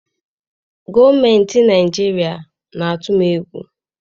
Gọọmentị Naịjirịa na-atụ m egwu.